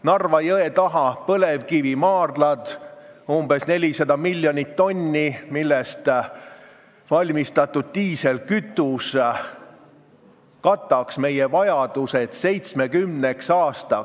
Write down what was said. Narva jõe taga põlevkivimaardlates on umbes 400 miljonit tonni põlevkivi, millest valmistatud diislikütus kataks meie vajadused 70 aastaks.